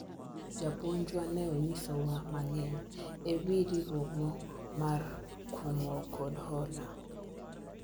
japuonjwa ne onyiso wa mang'eny e wi riwruogno mar kungo kod hola